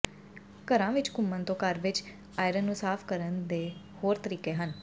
ਘਰਾਂ ਵਿਚ ਘੁੰਮਣ ਤੋਂ ਘਰ ਵਿਚ ਆਇਰਨ ਨੂੰ ਸਾਫ਼ ਕਰਨ ਦੇ ਹੋਰ ਤਰੀਕੇ ਹਨ